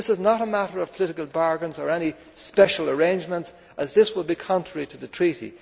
This is not a matter of political bargaining or any special arrangements, as that would be contrary to the Treaty.